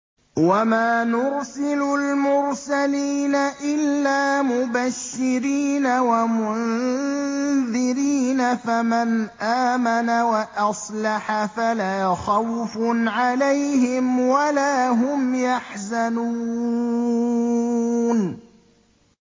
وَمَا نُرْسِلُ الْمُرْسَلِينَ إِلَّا مُبَشِّرِينَ وَمُنذِرِينَ ۖ فَمَنْ آمَنَ وَأَصْلَحَ فَلَا خَوْفٌ عَلَيْهِمْ وَلَا هُمْ يَحْزَنُونَ